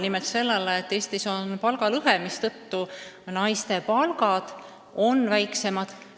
Nimelt sellele, et Eestis on palgalõhe, mistõttu naiste palgad on väiksemad.